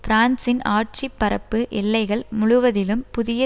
பிரான்சின் ஆட்சி பரப்பு எல்லைகள் முழுவதிலும் புதிய